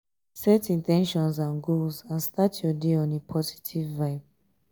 set in ten tions and goals and start your day on a positive vibe